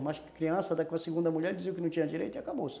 criança, da segunda mulher dizia que não tinha direito e acabou-se.